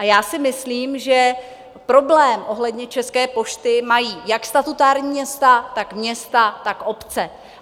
A já si myslím, že problém ohledně České pošty mají jak statutární města, tak města, tak obce.